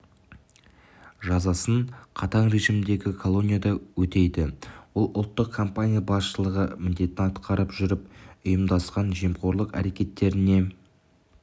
жазасын қатаң режимдегі колонияда өтейді ол ұлттық компания басшылығы міндетін атқарып жүріп ұйымдасқан жемқорлық әрекеттеріне